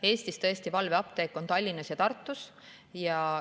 Eestis on tõesti valveapteek Tallinnas ja Tartus.